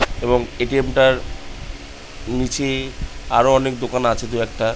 এবং এ_টি_এম টার নিচে আরো অনেক দোকান আছে দুই একটা।